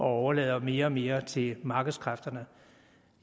overlader mere og mere til markedskræfterne